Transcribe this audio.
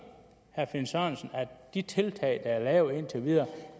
herre finn sørensen at de tiltag der er lavet indtil videre